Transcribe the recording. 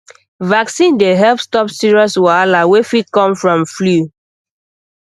vaccine dey help stop serious wahala wey fit come from flu